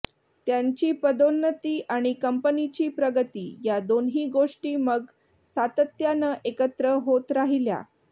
त्यांची पदोन्नती आणि कंपनीची प्रगती या दोन्ही गोष्टी मग सातत्यानं एकत्र होत राहिल्या